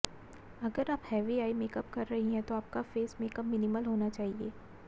अगर आप heavy eye makeup कर रही हैं तो आपका फेस मेकअप मिनिमल होना चाहिए